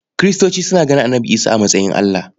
Kiristoci suna ganin Annabi Isa a matsayin Allah.